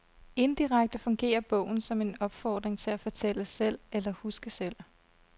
Indirekte fungerer bogen som en opfordring til at fortælle selv eller huske selv.